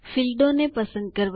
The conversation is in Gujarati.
ફીલ્ડો ક્ષેત્રોને પસંદ કરવા